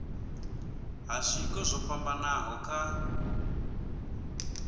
ha zwiko zwo fhambanaho kha